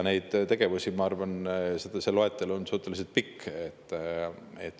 Nende tegevuste loetelu on minu arvates suhteliselt pikk.